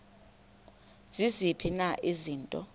ziziphi na izinto